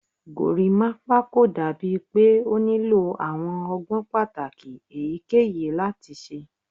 Gorimapa ko dabi pe o nilo awọn ọgbọn pataki eyikeyi lati ṣe